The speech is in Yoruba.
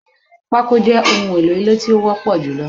Pako je ohun èlò ilé kíkọ tí ó wọ́pọ̀ julọ